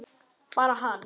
Bara hann?